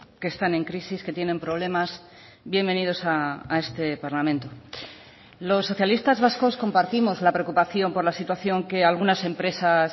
que están en crisis que tienen problemas bienvenidos a este parlamento los socialistas vascos compartimos la preocupación por la situación que algunas empresas